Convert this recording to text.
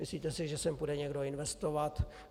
Myslíte si, že sem půjde někdo investovat?